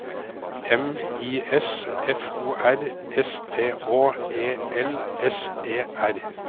M I S F O R S T Å E L S E R